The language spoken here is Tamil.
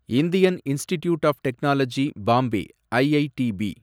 Indian Institute of Technology Bombay, IITB